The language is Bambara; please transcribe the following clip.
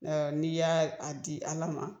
N'i y'a a di ALA ma.